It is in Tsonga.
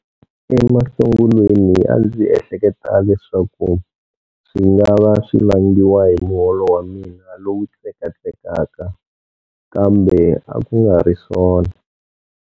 Emasungulweni a ndzi ehleketa leswaku swi nga va swi vangiwa hi muholo wa mina lowu tsekatsekaka, kambe a ku nga ri swona.